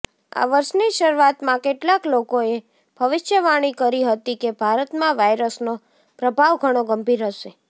આ વર્ષની શરૂઆતમાં કેટલાક લોકોએ ભવિષ્યવાણી કરી હતી કે ભારતમાં વાઈરસનો પ્રભાવ ઘણો ગંભીર હશે